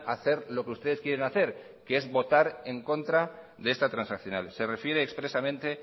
hacer lo que ustedes quieren hacer que es votar en contra de esta transaccional se refiere expresamente